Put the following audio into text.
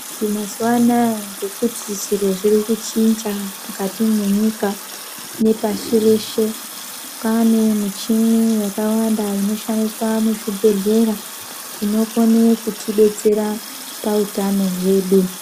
Mazuwa anaya ngekuti zviro zviri kuchinja mukati mwenyika nepashi reshe, kwaane muchini yakawanda inoshandiswa muzvibhedhlera, inokone kutidetsera pautano hwedu.